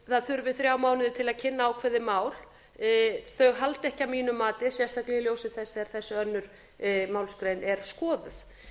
það þurfi þrjá mánuði til að kynna ákveðið mál halda því ekki að mínu mati sérstaklega í ljósi þess þegar þessi önnur málsgrein er skoðuð